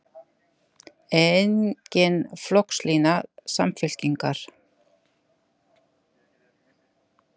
Engin flokkslína Samfylkingar